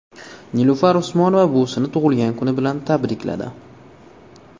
Nilufar Usmonova buvisini tug‘ilgan kuni bilan tabrikladi.